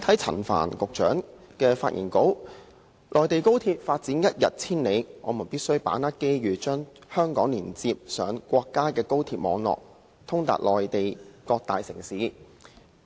陳帆局長的發言稿提到，"內地高鐵發展一日千里，我們有必要把握機遇......將香港聯通國家高鐵網絡......通達內地各大城市"。